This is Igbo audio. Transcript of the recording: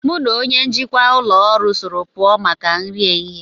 Mu na onye njikwa ụlọ ọrụ soro puo maka nri ehihe